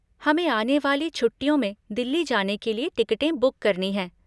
हमें आने वाली छुट्टियों में दिल्ली जाने के लिए टिकटें बुक करनी हैं।